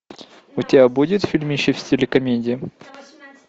у тебя будет фильмище в стиле комедия